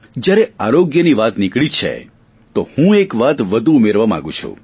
જ્યારે આરોગ્યની વાત નીકળી જ છે તો હું એક વાત વધુ ઉમેરવા માગું છું